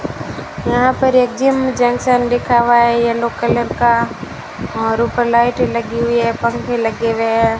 यहां पर एक जिम जंक्शन लिखा हुआ है येलो कलर का और ऊपर लाइटें लगी हुई है पंखे लगे हुए हैं।